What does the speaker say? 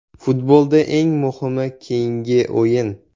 Futbolda eng muhimi keyingi o‘yin.